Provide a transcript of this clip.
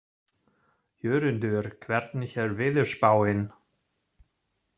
Jörundur, hvernig er veðurspáin?